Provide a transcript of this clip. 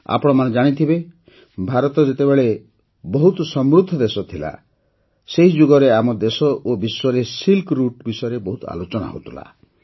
ଆପଣମାନେ ଜାଣିଥିବେ ଭାରତ ଯେତେବେଳେ ବହୁତ ସମୃଦ୍ଧ ଦେଶ ଥିଲା ସେହି ଯୁଗରେ ଆମ ଦେଶ ଓ ବିଶ୍ୱରେ ସିଲ୍କ ରୁଟ୍ ବିଷୟରେ ବହୁତ ଆଲୋଚନା ହେଉଥିଲା